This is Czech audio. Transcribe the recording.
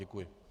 Děkuji.